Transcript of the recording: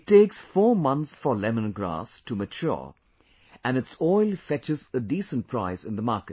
It takes four months for lemongrass to mature and its oil fetches a decent price in the market